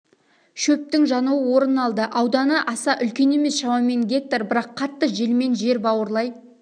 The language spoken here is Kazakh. шөптің жануы орын алды ауданы аса үлкен емес шамамен гектар бірақ қатты желмен жер бауырлай